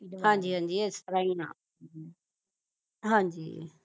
ਹਾਂਜੀ ਹਾਂਜੀ ਇਸ ਤ੍ਰਾਹ ਈ ਆ ਹਾਂਜੀ